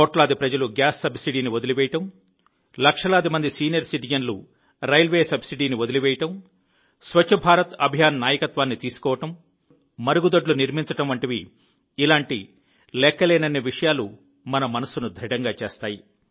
కోట్లాది ప్రజలు గ్యాస్ సబ్సిడీని వదిలివేయడం లక్షలాది మంది సీనియర్ సిటిజన్లు రైల్వే సబ్సిడీని వదిలివేయడం స్వచ్ఛ భారత్ అభియాన్ నాయకత్వాన్ని తీసుకోవడం మరుగుదొడ్లు నిర్మించడం వంటివి ఇలాంటి లెక్కలేనన్ని విషయాలు మన మనస్సును దృఢంగా చేస్తాయి